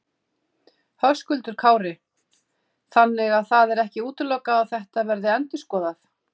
Höskuldur Kári: Þannig að það er ekki útilokað að þetta verði endurskoðað?